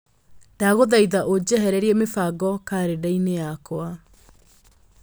Ndagũthaitha ũnjehererie mĩbango karenda-inĩ yakwa